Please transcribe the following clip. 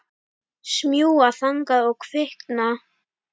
Smjúga þangað og kvikna.